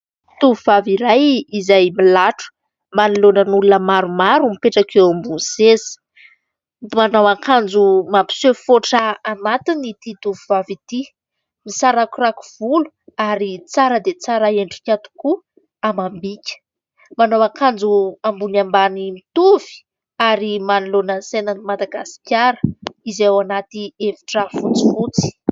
Tovovavy iray, izay milatro, manoloana olona maromaro eo ambony seza. Manao akanjo mampiseho foatra anatiny ity tovovavy ity. Misarakorako volo ary tsara dia tsara endrika tokoa amam-bika. Manao akanjo ambony ambany mitovy manoloana ny sainan'i Madagasikara izay ao anaty efitra fotsifotsy.